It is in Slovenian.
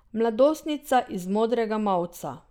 Mladostnica iz modrega mavca.